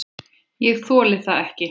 Ég þoli það ekki